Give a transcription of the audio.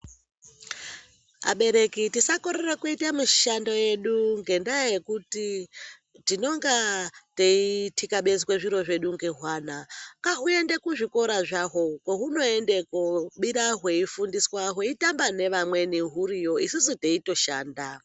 Abereki tisakorere kuite mishando yedu ngendaa yekuti tinenge teithikabezwa zviro zvedu ngehwana. Ngahuende kuzvikora zvaho. Kwehunoenda hweibirayo hweifundiswa hweitamba neamweni huriyo, isusu teitoshanda.